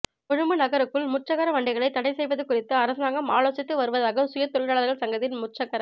கொழும்பு நகருக்குள் முச்சக்கர வண்டிகளைத் தடை செய்வது குறித்து அரசாங்கம் ஆலோசித்து வருவதாக சுய தொழிலாளர்கள் சங்கத்தின் முச்சக்கர